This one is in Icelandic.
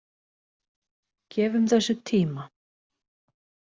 Gefum þessu tíma.